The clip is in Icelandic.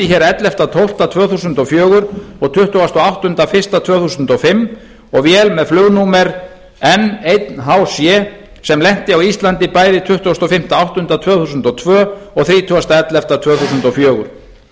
hér ellefta desember tvö þúsund og fjögur og tuttugasta og áttunda janúar tvö þúsund og fimm og vél með flugnúmer n einn h sé sem lenti á íslandi bæði tuttugasta og fimmta ágúst tvö þúsund og tvö og þrítugasta nóvember tvö þúsund og fjögur